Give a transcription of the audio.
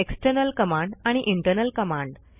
external command आणि internal command